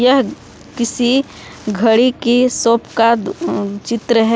यह किसी घड़ी की शॉप का दु अ चित्र है।